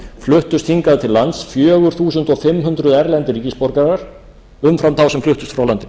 fluttust hingað til lands fjögur þúsund fimm hundruð erlendir ríkisborgarar umfram þá sem fluttust frá landinu